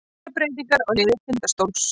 Miklar breytingar á liði Tindastóls